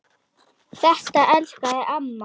Þetta elskaði amma.